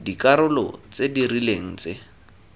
dikarolo tse di rileng tse